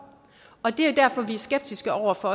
og det er derfor vi er skeptiske over for